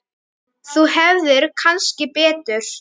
Þú hefðir kannski betur.